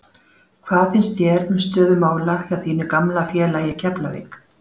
Hvað finnst þér um stöðu mála hjá þínu gamla félagi Keflavík?